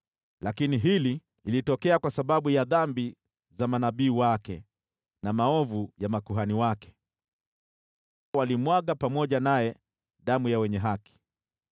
Lakini hili lilitokea kwa sababu ya dhambi za manabii wake, na maovu ya makuhani wake, waliomwaga ndani yake damu ya wenye haki.